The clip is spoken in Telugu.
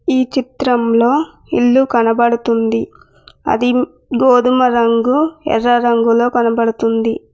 ఈ చిత్రంలో ఇల్లు కనబడుతుంది అది గోధుమ రంగు ఎర్ర రంగులో కనబడుతుంది.